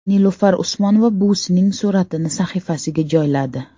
Nilufar Usmonova buvisining suratini sahifasiga joyladi.